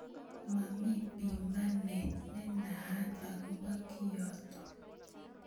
Mami bimanet nenaat akobo kiotok.